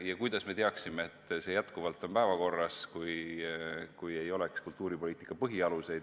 Ja kuidas me teaksime, et see on endiselt päevakorral, kui ei oleks kultuuripoliitika põhialuseid.